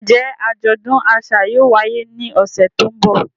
Njẹ ajọdun aṣa yóò waye ni ọsẹ to nbọ?